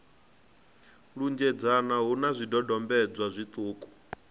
lunzhedzana hu na zwidodombedzwa zwiṱuku